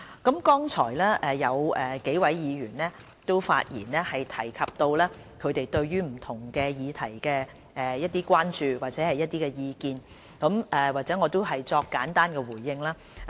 剛才有幾位議員發言時，提及到他們對於一些議題的關注或意見，我現在作簡單的回應。